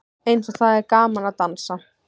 Eins og það er gaman að dansa!